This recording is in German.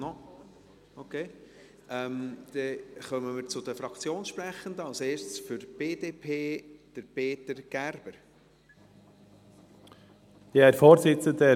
Dann kommen wir zu den Fraktionssprechenden, als Erster Peter Gerber für die BDP.